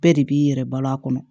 Bɛɛ de b'i yɛrɛ balo a kɔnɔ